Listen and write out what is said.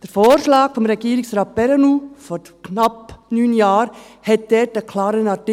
Der Vorschlag von Regierungsrat Perrenoud vor knapp neun Jahren enthielt dort einen klaren Artikel.